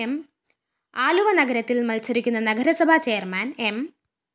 ആലുവ നഗരത്തില്‍ മത്സരിക്കുന്ന നഗരസഭ ചെയർമാൻ എം